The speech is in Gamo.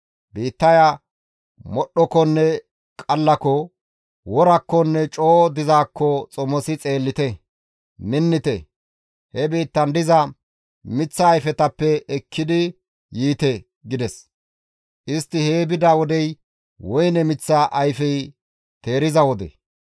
Biittaya modhdhokonne qallako, worakkonne coo dizaakko xomosi xeellite; minnite! He biittan diza miththa ayfetappe ekki yiite» gides; istti hee bida wodey woyne miththa ayfey teeriza wode.